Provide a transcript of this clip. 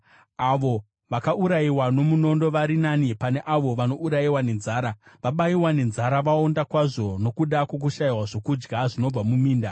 Avo vakaurayiwa nomunondo vari nani pane avo vanourayiwa nenzara; vabayiwa nenzara, vaonda kwazvo nokuda kwokushayiwa zvokudya zvinobva muminda.